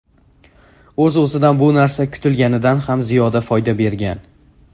O‘z-o‘zidan bu narsa kutilganidan ham ziyoda foyda bergan.